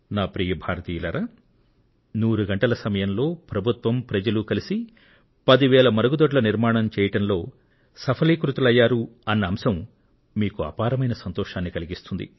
ప్రియమైన నా దేశ వాసులారా నూరు గంటల సమయంలో ప్రభుత్వం ప్రజలు కలిసి పది వేల మరుగుదొడ్ల నిర్మాణం చేయడంలో సఫలీకృతులయ్యారన్న అంశం మీకు అపారమైన సంతోషాన్ని కలిగిస్తుంది